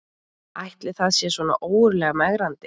Ætli það sé svona ógurlega megrandi